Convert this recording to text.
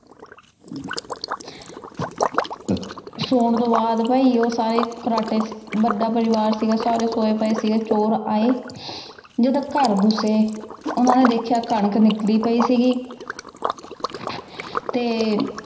ਸੋਨ ਤੋਂ ਬਾਅਦ ਓ ਭੀ ਸਾਰੇ ਖ੍ਰਾਟੀ ਵਾਦਾ ਪਰਿਵਾਰ ਸੀਗਾ ਸਾਰੇ ਸੋਆਯ ਪੇ ਚੋਰ ਆਯ ਜਦ ਘਰ ਘੁਸੇ ਓਹਨਾਂ ਨੇ ਦੇਖ੍ਯਾ ਕਨਕ ਵਿਖ੍ਰੀ ਪੈ ਸੀਗੀ ਤੇ